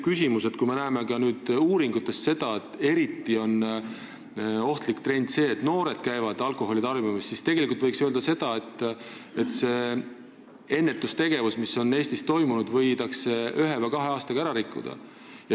Kui me näeme nüüd uurimuste põhjal seda, et eriti ohtlik trend on noorte alkoholitarbimine, siis tegelikult võiks öelda, et see ennetustegevus, mis Eestis on olnud, võidakse ühe-kahe aastaga ära rikkuda.